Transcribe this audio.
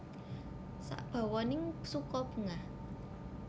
Sabawaning suka bungah